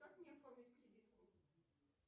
как мне оформить кредитку